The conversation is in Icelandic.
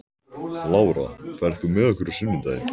Lára, ferð þú með okkur á sunnudaginn?